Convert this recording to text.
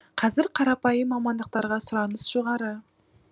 қазір қарапайым мамандықтарға сұраныс жоғары